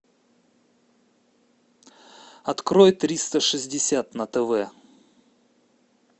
открой триста шестьдесят на тв